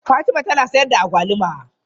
Fatima tana sayar da agwaluma?